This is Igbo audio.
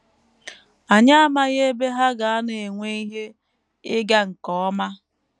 Anyị amaghị ebe ha ga - anọ enwe ihe ịga nke ọma.